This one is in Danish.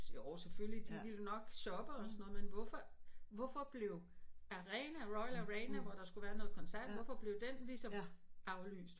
Jo selvfølgelig de vil nok shoppe og sådan noget men hvorfor hvorfor blev arena royal arena hvor der skulle være noget koncert hvorfor blev den ligesom aflyst